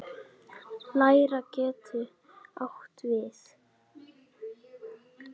Leirá getur átt við